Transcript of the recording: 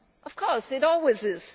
Of course it always